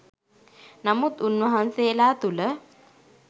නමුත් උන්වහන්සේලා තුළ